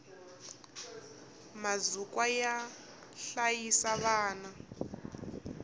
mazukwa yo hlayisa vana